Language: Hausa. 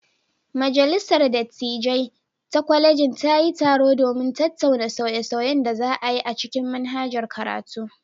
Majalisar dattijai ta kwalejin ta yi taro domin tattauna sauye-sauyen da za a yi a cikin manhajar karatu.